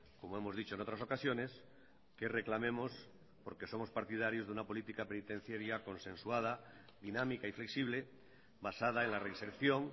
como hemos dicho en otras ocasiones que reclamemos porque somos partidarios de una política penitenciaria consensuada dinámica y flexible basada en la reinserción